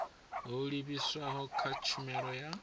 ho livhiswaho kha tshumelo ya